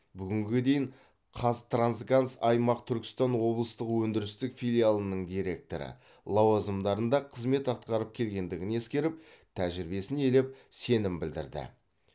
бүгінге дейін қазтрансгаз аймақ түркістан облыстық өндірістік филиалының директоры лауазымдарында қызмет атқарып келгендігін ескеріп тәжірибесін елеп сенім білдірді